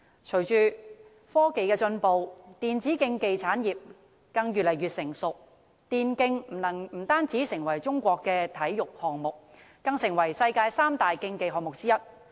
隨着科技進步，電子競技發展越來越成熟，電競不單成為中國的體育項目，更成為世界三大競技項目之一。